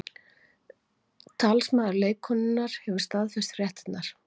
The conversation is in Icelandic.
Talsmaður leikkonunnar hefur staðfest fréttirnar